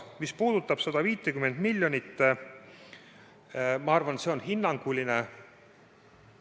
Mis puudutab 150 miljonit, siis ma arvan, et see on hinnanguline summa.